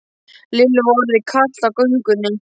Lillu var orðið kalt á göngunni.